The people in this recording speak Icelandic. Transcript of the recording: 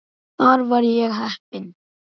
Þar var ég heppinn